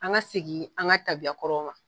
An ka segin, an ka tabiyakɔrɔ ma.